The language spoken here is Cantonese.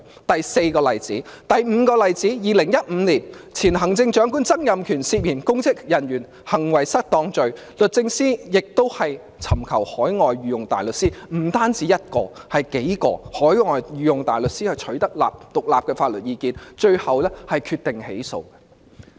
第五個例子發生在2015年，前行政長官曾蔭權涉嫌干犯公職人員行為失當罪，律政司亦委託不只1位而是數位海外御用大律師，取得獨立法律意見，最後決定起訴。